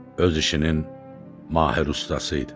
Öz işinin mahir ustası idi.